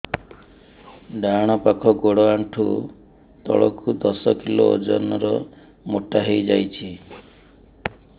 ଡାହାଣ ପାଖ ଗୋଡ଼ ଆଣ୍ଠୁ ତଳକୁ ଦଶ କିଲ ଓଜନ ର ମୋଟା ହେଇଯାଇଛି